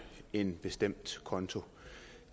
en bestemt konto